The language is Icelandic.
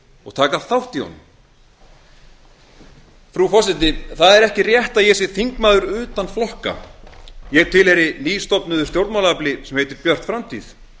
og taka þátt í honum frú forseti það er ekki rétt að ég sé þingmaður utan flokka ég tilheyri nýstofnuðu stjórnmálaafli sem heitir björt framtíð